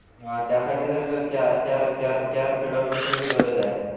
अ त्यासाठी जर चार चार खेळाडूंची पण गरज आहे